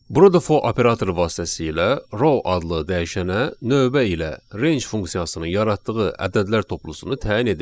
Burada for operatoru vasitəsilə row adlı dəyişənə növbə ilə range funksiyasının yaratdığı ədədlər toplusunu təyin edirik.